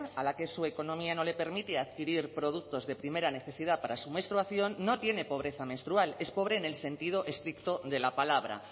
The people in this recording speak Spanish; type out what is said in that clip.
a la que su economía no le permite adquirir productos de primera necesidad para su menstruación no tiene pobreza menstrual es pobre en el sentido estricto de la palabra